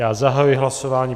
Já zahajuji hlasování.